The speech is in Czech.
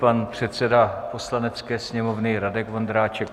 Pan předseda Poslanecké sněmovny Radek Vondráček.